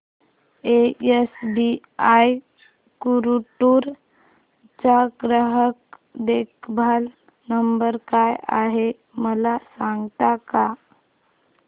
SBI Guntur चा ग्राहक देखभाल नंबर काय आहे मला सांगता का